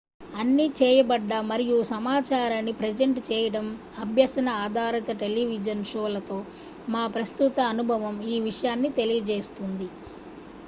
అన్ని చేయబడ్డ మరియు సమాచారాన్ని ప్రజంట్ చేయడం అభ్యసన ఆధారిత టెలివిజన్ షోలతో మా ప్రస్తుత అనుభవం ఈ విషయాన్ని తెలియజేస్తుంది